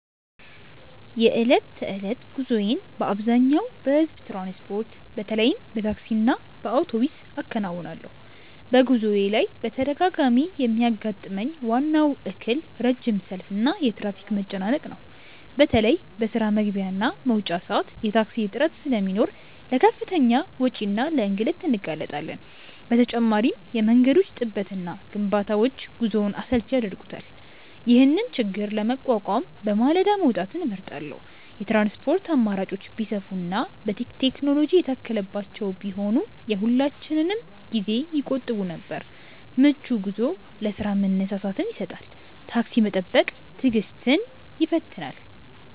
የዕለት ተዕለት ጉዞዬን በአብዛኛው በሕዝብ ትራንስፖርት፣ በተለይም በታክሲና በአውቶቡስ አከናውናለሁ። በጉዞዬ ላይ በተደጋጋሚ የሚያጋጥመኝ ዋናው እክል ረጅም ሰልፍና የትራፊክ መጨናነቅ ነው። በተለይ በስራ መግቢያና መውጫ ሰዓት የታክሲ እጥረት ስለሚኖር ለከፍተኛ ወጪና ለእንግልት እንጋለጣለን። በተጨማሪም የመንገዶች ጥበትና ግንባታዎች ጉዞውን አሰልቺ ያደርጉታል። ይህንን ችግር ለመቋቋም በማለዳ መውጣትን እመርጣለሁ። የትራንስፖርት አማራጮች ቢሰፉና ቴክኖሎጂ የታከለባቸው ቢሆኑ የሁላችንንም ጊዜ ይቆጥቡ ነበር። ምቹ ጉዞ ለስራ መነሳሳትን ይሰጣል። ታክሲ መጠበቅ ትዕግስትን ይፈትናል።